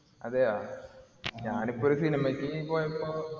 അതെയോ ഞാനിപ്പൊരു cinema ക്ക് പോയപ്പോ